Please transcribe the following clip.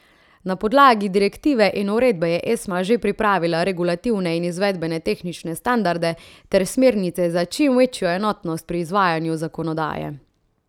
Na podlagi direktive in uredbe je Esma že pripravila regulativne in izvedbene tehnične standarde ter smernice za čim večjo enotnost pri izvajanju zakonodaje.